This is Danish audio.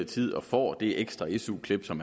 tid og får det ekstra su klip som